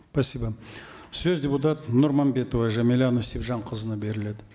спасибо сөз депутат нұрманбетова жәмилә нүсіпжанқызына беріледі